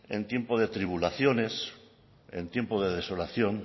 en tiempo de tribulaciones en tiempo de desolación